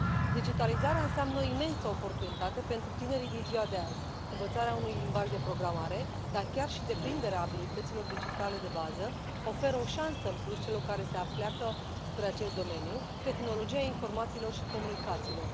Digitalizarea înseamnă o imensă oportunitate pentru tinerii din ziua de azi învățarea unui limbaj de programare, dar chiar și deprinderea abilităților digitale de bază oferă o șansă în plus celor care se apleacă spre acest domeniu tehnologia informațiilor și comunicațiilor.